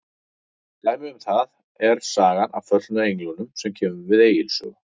Dæmi um það er sagan af föllnu englunum sem kemur við Egils sögu.